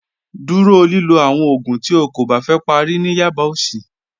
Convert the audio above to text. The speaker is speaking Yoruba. Dúró lílọ̀ àwọn oogún tí ó kó bá fẹ́ pàrí ní yaba ọsì.